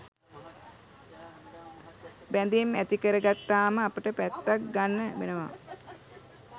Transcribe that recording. බැඳීම් ඇතිකරගත්තාම අපට පැත්තක් ගන්න වෙනවා